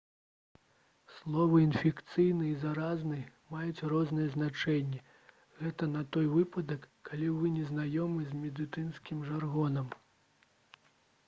словы «інфекцыйны» і «заразны» маюць розныя значэнні — гэта на той выпадак калі вы не знаёмы з медыцынскім жаргонам